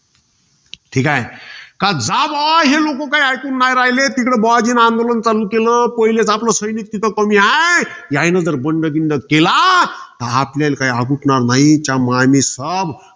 ठीकाय. कि जा भो, हे काय ऐकून न्हाई राहिले, तिकडे, बुवाजीनी आंदोलन चालू केलं. पहिलेच आपलं सैनिक तिथे कमी हाये. यायनंतर बंड बिंड केला, तर आपल्याला काई अबुटणार नाही. च्यामानी साब.